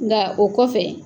Nka o kɔfɛ